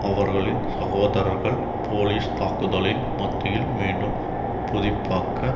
அவர்களின் சகோதரர்கள் போலீஸ் தாக்குதலின் மத்தியில் மீண்டும் புதிப்பாக்க